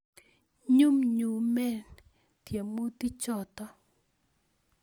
Nyumnyumen tiemutik choto